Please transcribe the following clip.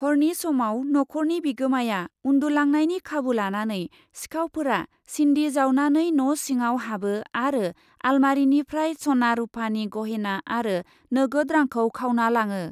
हरनि समाव नख'रनि बिगोमाया उन्दुलांनायनि खाबु लानानै सिखावफोरा सिन्दि जावनानै न' सिङाव हाबो आरो आलमारिनिफ्राय स'ना रुफानि गहेना आरो नोगोद रांखौ खावना लाङो ।